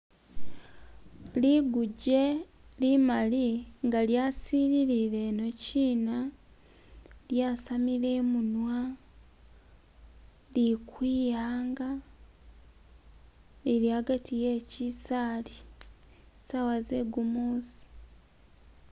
liguje limali nga lyasilile ino china lyasamile imunwa likwiyanga lili agati wechisali sawa zegumusi